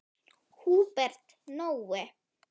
Húbert Nói.